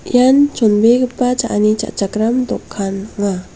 ian chonbegipa cha·ani cha·chakram dokan .